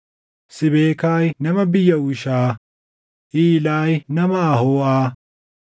Siibekaay nama biyya Hushaa, Iilaayi nama Ahooʼaa,